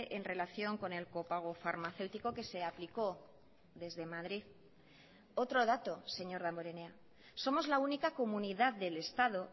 en relación con el copago farmacéutico que se aplicó desde madrid otro dato señor damborenea somos la única comunidad del estado